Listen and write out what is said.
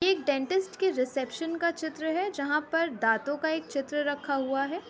एक डेंटिस्ट के रिसेप्शन का चित्र है जहाँ पर दांतों का एक चित्र रखा हुआ है।